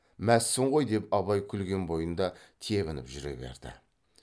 мәзсің ғой деп абай күлген бойында тебініп жүре берді